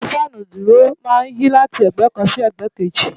Orí Fáànù onídùúró máa ń yí láti ẹ̀gbẹ́ kan sí ẹ̀gbẹ́ kejì.